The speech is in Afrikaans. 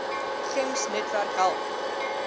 gems netwerk help